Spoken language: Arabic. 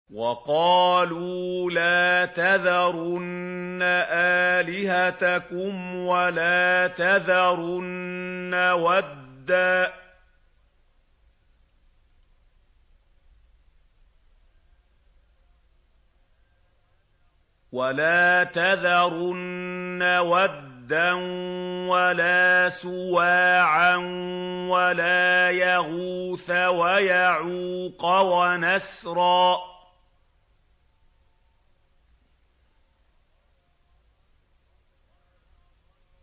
وَقَالُوا لَا تَذَرُنَّ آلِهَتَكُمْ وَلَا تَذَرُنَّ وَدًّا وَلَا سُوَاعًا وَلَا يَغُوثَ وَيَعُوقَ وَنَسْرًا